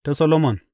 Ta Solomon.